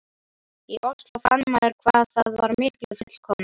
í Osló, fann maður hvað það var miklu fullkomnara.